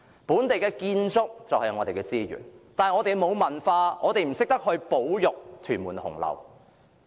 本地建築就是我們的資源，但我們沒有文化，不懂得保育屯門紅樓。